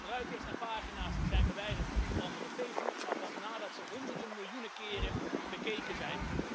Gebruikers en pagina's zijn verwijderd van onder andere Facebook, maar pas nadat ze honderden miljoenen keren bekeken zijn.